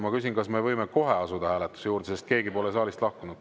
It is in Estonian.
Ma küsin, kas me võime kohe asuda hääletuse juurde, sest keegi pole saalist lahkunud.